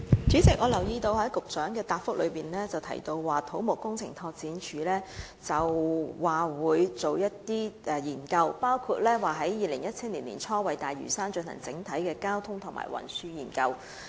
主席，我留意到局長在主體答覆中提到土木工程拓展署將會進行研究，包括在2017年年初為大嶼山進行整體交通及運輸研究。